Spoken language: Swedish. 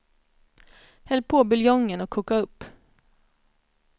Häll på buljongen och koka upp.